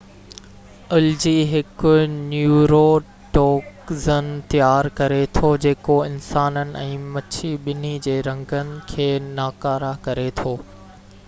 الجي هڪ نيوروٽوگزن تيار ڪري ٿو جيڪو انسانن ۽ مڇي ٻني جي رڳن کي ناڪاره ڪري ٿو